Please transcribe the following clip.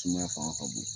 Sumaya fanga ka bon